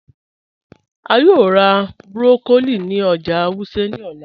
A yòò rá broccoli ní ọ̀jà Wuse ní òlà.